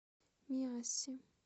миассе